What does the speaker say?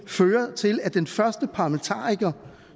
føre til at den første parlamentariker